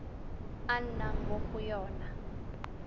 a nnang mo go yona